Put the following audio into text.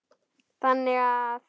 þannig að